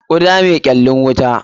Kuda mai kyallin wuta.